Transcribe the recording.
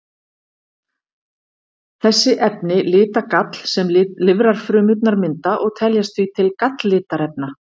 Þessi efni lita gall sem lifrarfrumurnar mynda og teljast því til galllitarefna.